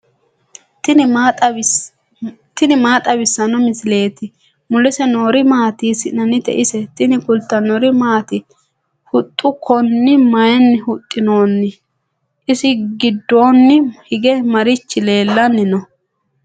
tini maa xawissanno misileeti ? mulese noori maati ? hiissinannite ise ? tini kultannori maati? Huxxa konne mayiinni huxinoonni? isi gidoonni hige marichi leelanni noo?